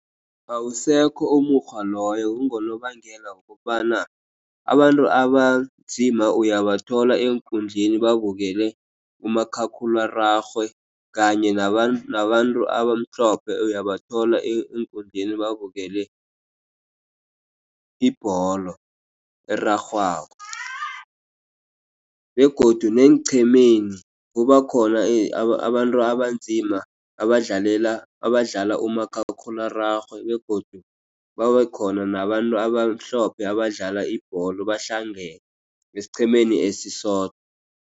Awusekho umukghwa loyo, kungonobangela wokobana abantu abanzima uyabathola eenkundleni babukele umakhakhulararhwe, kanye nabantu abamhlophe uyabathola eenkundleni babukele ibholo erarhwako, begodu neenqhemeni, kuba khona abantu abanzima badlala umakhakhulararhwe, begodu babe khona nabantu abamhlophe abadlala ibholo, bahlangene esiqhemeni esisodwa.